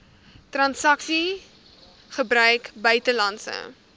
transaksies gebruik buitelandse